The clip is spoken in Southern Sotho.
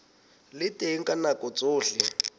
le teng ka nako tsohle